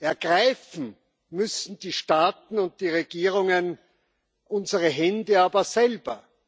ergreifen müssen die Staaten und die Regierungen unsere Hände aber selber.